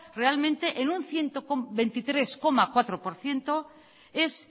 realmente en un ciento veintitrés coma cuatro por ciento es